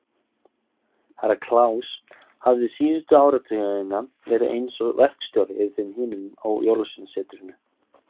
Herra Kláus hafði síðustu áratugina verið eins og verkstjóri yfir þeim hinum á Jólasveinasetrinu.